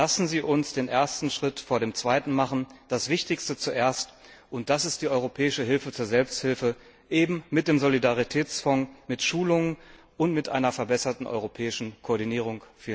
Lassen Sie uns den ersten Schritt vor dem zweiten machen, das Wichtigste zuerst, und das ist die europäische Hilfe zur Selbsthilfe, eben mit dem Solidaritätsfonds, mit Schulungen und mit einer verbesserten europäischen Koordinierung.